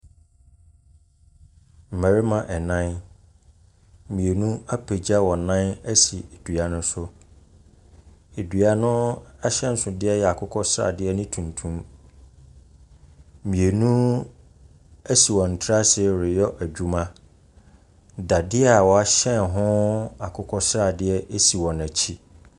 Mmarima nan, mmienu apegyagya wɔn nan asi dua no so. Dua no ahyɛnsodeɛ yɛ akokɔsradeɛ ne tuntum. Mmienu asi wɔn ti ase reyɛ adwuma. Dadeɛ a wɔahyɛn ho akokɔsradeɛ si wɔn akyi.